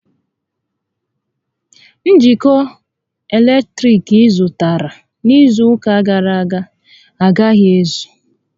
Njikọ eletriki ị zụtara n'izu ụka gàrà aga agaghi ézù